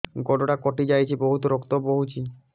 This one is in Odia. ଗୋଡ଼ଟା କଟି ଯାଇଛି ବହୁତ ରକ୍ତ ବହୁଛି